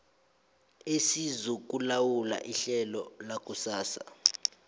esizokulawula ihlelo lakusasa